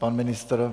Pan ministr?